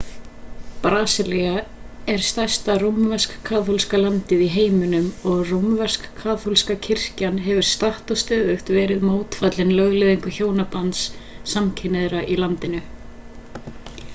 brasilía er stærsta rómversk-kaþólska landið í heiminum og rómversk-kaþólska kirkjan hefur statt og stöðugt verið mótfallin lögleiðingu hjónabands samkynhneigðra í landinu